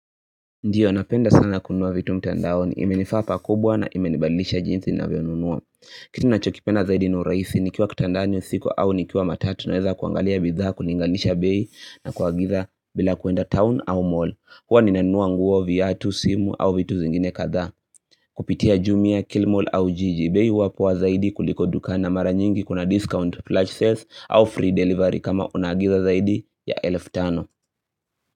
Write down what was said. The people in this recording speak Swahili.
Ndio, napenda sana kununua vitu mtandaoni. Imenifaa pakubwa na imenibadilisha jinsi ninavyonunua. Kitu nachokipenda zaidi ni urahisi nikiwa kitandani usiku au nikiwa matatu naweza kuangalia bidhaa kulinganisha bei na kwa giza bila kuenda town au mall. Huwa ninanunua nguo, viatu, simu au vitu zingine kadhaa. Kupitia jumia, kilimall au jiji. Bei huwa poa zaidi kuliko duka na mara nyingi kuna discount, large sales au free delivery kama unaagiza zaidi ya elfu tano.